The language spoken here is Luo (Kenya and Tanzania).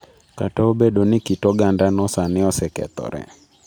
Kata obedo ni kit ogandano sani osekethore.